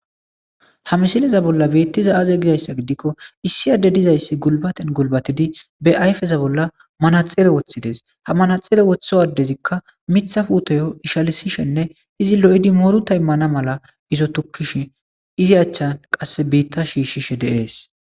Ha misileza bolla beettiza aaze gizayssa gidikko issi adde dizayssi gulbaten gulbatidi be ayfeza bolla manaxere woththides ha manaxere woththo addezikka mitha fuutoyo ishalisishenne izi lo7idi moru taymana mala izo tukkish izi achchan qasse biitta shiishshishe deees